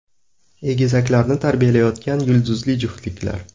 Egizaklarni tarbiyalayotgan yulduzli juftliklar .